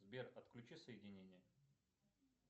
сбер отключи соединение